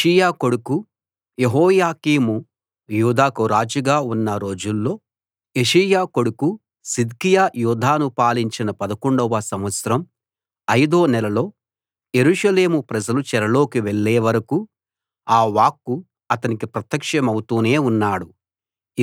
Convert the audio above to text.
యోషీయా కొడుకు యెహోయాకీము యూదాకు రాజుగా ఉన్న రోజుల్లో యోషీయా కొడుకు సిద్కియా యూదాను పాలించిన 11 వ సంవత్సరం అయిదో నెలలో యెరూషలేము ప్రజలు చెరలోకి వెళ్ళే వరకూ ఆ వాక్కు అతనికి ప్రత్యక్షమవుతూనే ఉన్నాడు